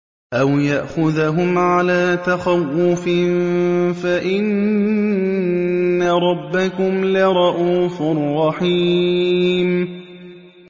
أَوْ يَأْخُذَهُمْ عَلَىٰ تَخَوُّفٍ فَإِنَّ رَبَّكُمْ لَرَءُوفٌ رَّحِيمٌ